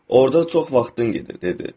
Orda çox vaxtın gedir, dedi.